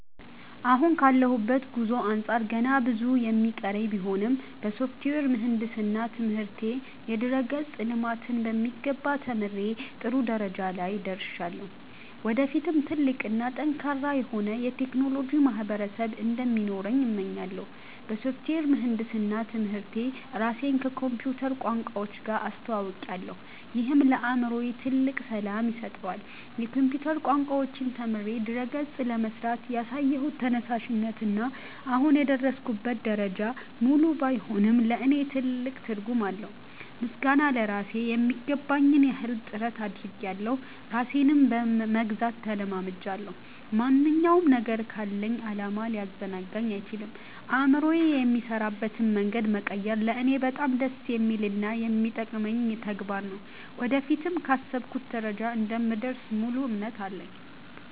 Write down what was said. አሁን ካለሁበት ጉዞ አንጻር ገና ብዙ የሚቀረኝ ቢሆንም፣ በሶፍትዌር ምህንድስና ትምህርቴ የድረ-ገጽ ልማትን በሚገባ ተምሬ ጥሩ ደረጃ ላይ ደርሻለሁ። ወደፊትም ትልቅ እና ጠንካራ የሆነ የቴክኖሎጂ ማህበረሰብ እንዲኖረኝ እመኛለሁ። በሶፍትዌር ምህንድስና ትምህርቴ ራሴን ከኮምፒውተር ቋንቋዎች ጋር አስተውውቄያለሁ፤ ይህም ለአእምሮዬ ትልቅ ሰላም ይሰጠዋል። የኮምፒውተር ቋንቋዎችን ተምሬ ድረ-ገጾችን ለመሥራት ያሳየሁት ተነሳሽነት እና አሁን የደረስኩበት ደረጃ፣ ሙሉ ባይሆንም ለእኔ ትልቅ ትርጉም አለው። ምስጋና ለራሴ ....የሚገባኝን ያህል ጥረት አድርጌያለሁ ራሴንም መግዛት ተለማምጃለሁ። ማንኛውም ነገር ካለኝ ዓላማ ሊያዘናጋኝ አይችልም። አእምሮዬ የሚሠራበትን መንገድ መቀየር ለእኔ በጣም ደስ የሚልና የሚጠቅመኝ ተግባር ነው። ወደፊትም ካሰብኩበት ደረጃ እንደምደርስ ሙሉ እምነት አለኝ።